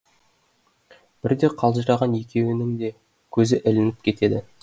бірде қалжыраған екеуінің де көзі ілініп кетеді